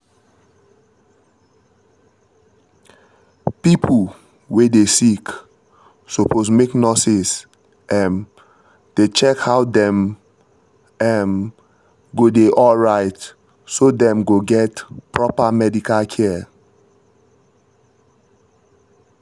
pipo wey dey sick suppose make nurses um dey check how dem um go dey alright so dem go get proper medical care